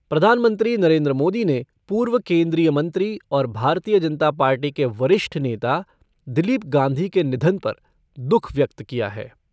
प्रधानमंत्री नरेन्द्र मोदी ने पूर्व केन्द्रीय मंत्री और भारतीय जनता पार्टी के वरिष्ठ नेता दिलीप गांधी के निधन पर दुःख व्यक्त किया है।